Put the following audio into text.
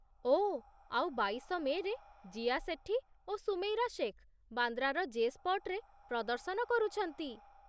ଓଃ, ଆଉ ବାଇଶ ମେ'ରେ ଜିୟା ସେଠି ଓ ସୁମୈରା ଶେଖ୍ ବାନ୍ଦ୍ରାର ଜେ ସ୍ପଟ୍‌ରେ ପ୍ରଦର୍ଶନ କରୁଛନ୍ତି।